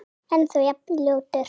Ennþá jafn ljótur.